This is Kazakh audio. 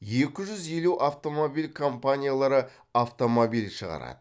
екі жүз елу автомобиль компаниялары автомобиль шығарады